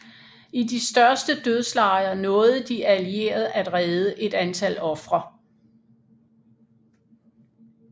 I de største dødslejre nåede de allierede at redde et antal ofre